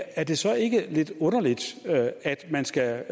er det så ikke lidt underligt at man skal